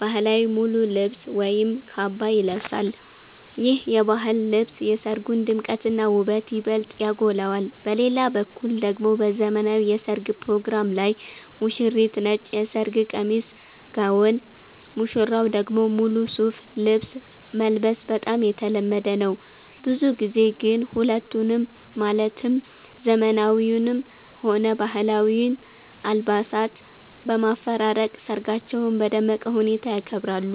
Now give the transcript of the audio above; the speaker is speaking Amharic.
ባህላዊ ሙሉ ልብስ ወይም ካባ ይለብሳል። ይህ የባህል ልብስ የሰርጉን ድምቀትና ውበት ይበልጥ ያጎላዋል። በሌላ በኩል ደግሞ በዘመናዊው የሠርግ ፕሮግራም ላይ ሙሽሪት ነጭ የሰርግ ቀሚስ (ጋውን)፣ ሙሽራው ደግሞ ሙሉ ሱፍ ልብስ መልበስ በጣም የተለመደ ነው። ብዙ ጊዜ ግን ሁለቱንም ማለትም ዘመናዊውንም ሆነ ባህላዊውን አልባሳት በማፈራረቅ ሰርጋቸውን በደመቀ ሁኔታ ያከብራሉ።